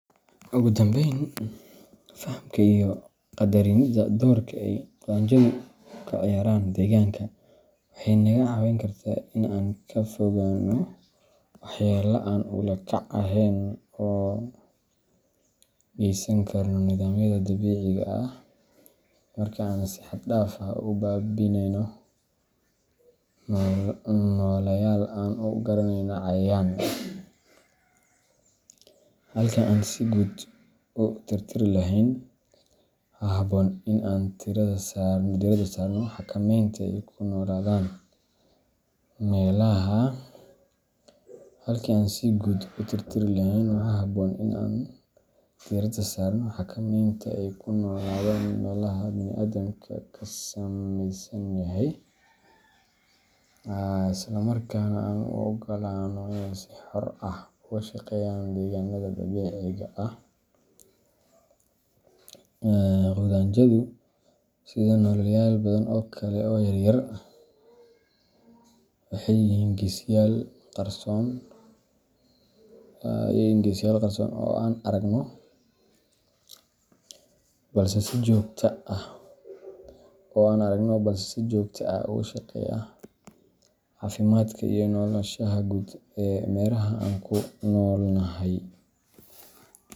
Ugu dambayn, fahamka iyo qadarinidda doorka ay qudhunjadu ka ciyaaraan deegaanka waxay naga caawin kartaa in aan ka fogaanno waxyeello aan ula kac ahayn oo aan u geysan karno nidaamyada dabiiciga ah marka aan si xad-dhaaf ah u baabi’inayno nooleyaal aan u aragno "cayayaan." Halkii aan si guud u tirtiri lahayn, waxaa habboon in aan diirada saarno xakamaynta ay ku noolaadaan meelaha bini’aadamka ka samaysan yahay, isla markaana aan u oggolaanno inay si xor ah uga shaqeeyaan deegaanada dabiiciga ah. Qudhunjadu, sida nooleyaal badan oo kale oo yaryar, waxay yihiin geesiyaal qarsoon oo aan aragno, balse si joogto ah uga shaqeeya caafimaadka iyo noolanshaha guud ee meeraha aan ku noolnahay.